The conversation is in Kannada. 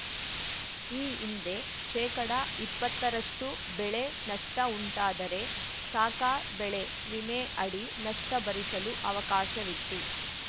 ಈ ಹಿಂದೆ ಶೇಕಡ ಇಪ್ಪತ್ತ ರಷ್ಟುಬೆಳೆ ನಷ್ಟಉಂಟಾದರೆ ಸಾಕ ಬೆಳೆ ವಿಮೆ ಅಡಿ ನಷ್ಟಭರಿಸಲು ಅವಕಾಶವಿತ್ತು